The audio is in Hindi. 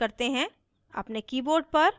अब program निष्पादित करते हैं